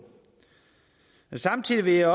men samtidig vil